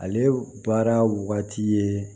Ale baara waati ye